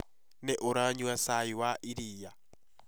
nĩ ũranyua cai wa iria?